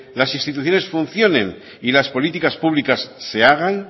las instituciones funcionen y las políticas públicas se hagan